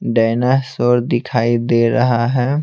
Dinosaur दिखाई दे रहा है।